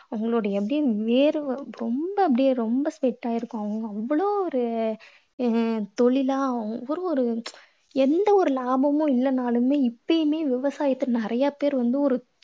அவங்களுடைய அப்படியே வேர்வை ரொம்ப அப்படியே ரொம்ப sweat ஆயி இருக்கும். அவங்க அவ்வளவு ஒர உம் தொழிலா அவ்வளோ ஒரு எந்த ஒரு லாபமும் இல்லன்னாலுமே இப்பயுமே விவசாயிகள் நிறைய பேர் வந்து ஒரு